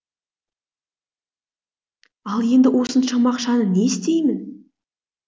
ал енді осыншама ақшаны не істеймін